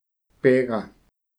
Pega.